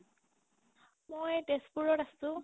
মই তেজপুৰত আছে